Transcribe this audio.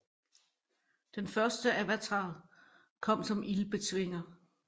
Den første avatar kom som ildbetvinger